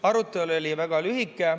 Arutelu oli väga lühike.